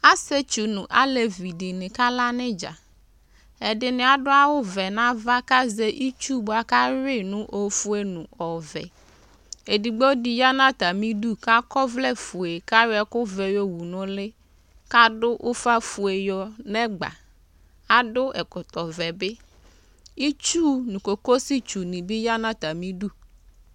asietsʋ nʋ alevini akala nidza ɛdini adʋ awʋ nava kazɛ itsʋ bʋaka hui nʋ oƒʋe nʋ ɔvɛ edigbodi ya natimidʋ ka kɔvlɛ ƒʋe kayɔ ɛkʋvɛ yɔwʋ nʋ ʋlii kadʋ ʋƒa ƒʋe nɛgba itsʋʋ nʋ kokositsʋ bi ya nʋ atamidʋ